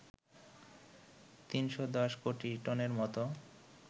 ৩১০ কোটি টনের মতো